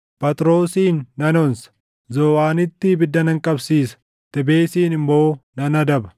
Phaxroosin nan onsa; Zooʼaanitti ibidda nan qabsiisa; Tebesiin immoo nan adaba.